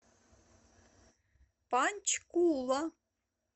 панчкула